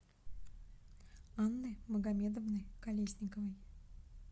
анны магомедовны колесниковой